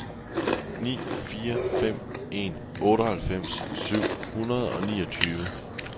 ni fire fem en otteoghalvfems syv hundrede og niogtyve